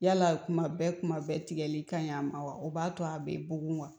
Yala kuma bɛɛ kuma bɛɛ tigɛli ka ɲi a ma wa o b'a to a bɛ bugun wa